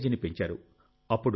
మైలేజీని పెంచారు